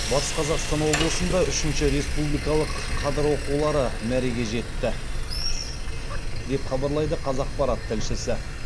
батыс қазақстан облысында үшінші республикалық қадыр оқулары мәреге жетті деп хабарлайды қазақпарат тілшісі